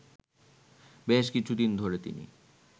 বেশ কিছুদিন ধরে তিনি